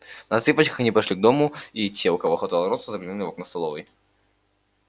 на цыпочках они подошли к дому и те у кого хватало роста заглянули в окна столовой